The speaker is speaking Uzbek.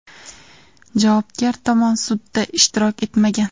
Javobgar tomon sudda ishtirok etmagan.